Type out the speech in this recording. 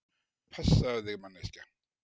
Passaðu þig manneskja!!